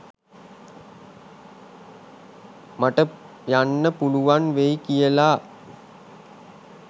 මට යන්න පුළුවන් වෙයි කියලා.